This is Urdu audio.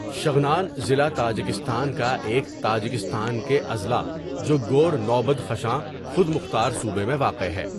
شغنان ضلع تاجکستان کا ایک تاجکستان کے اضلاع جو گورنو بدخشاں خود مختار صوبہ میں واقع ہے.